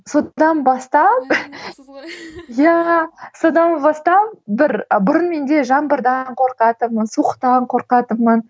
содан бастап иә содан бастап бір бұрын менде жаңбырдан қорқатынмын суықтан қорқатынмын